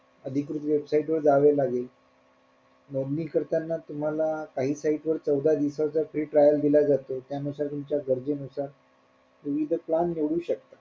अधिकृत website वर जावे लागेल नोंदणी करताना तुम्हाला काही site वर चौदा साठी trial दिला जातो त्यानुसार तुमच्या गर्जे नुसार तुम्ही तो plan निवडू शकता.